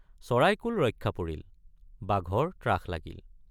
চৰাইকুল ৰক্ষা পৰিল—বাঘৰ ত্ৰাস লাগিল।